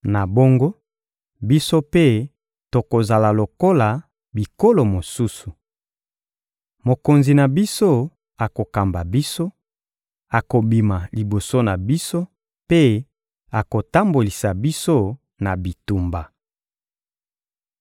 Na bongo, biso mpe tokozala lokola bikolo mosusu. Mokonzi na biso akokamba biso, akobima liboso na biso mpe akotambolisa biso na bitumba.